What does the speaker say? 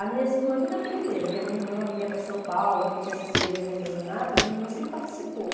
As minhas irmãs tudo aprenderam, que a minha irmã vinha para São Paulo, quando tinha essas feiras de artesanato, a minha irmã sempre participou.